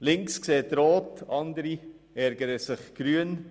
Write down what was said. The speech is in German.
Links sieht rot, andere ärgern sich grün.